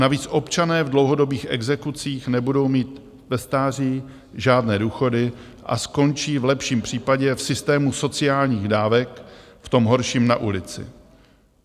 Navíc občané v dlouhodobých exekucích nebudou mít ve stáří žádné důchody a skončí v lepším případě v systému sociálních dávek, v tom horším na ulici.